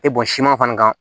E bɔn siman fana kan